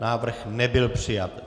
Návrh nebyl přijat.